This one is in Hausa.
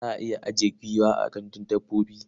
Za a iya ajiye giwa a gandun dabbobi.